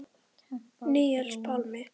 Níels Pálmi.